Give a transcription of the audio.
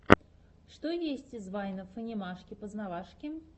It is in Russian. что есть из вайнов анимашки познавашки